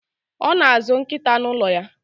Ọ na-azụ nkịta n' ụlọ ya.